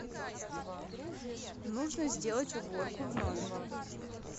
нужно сделать уборку в номере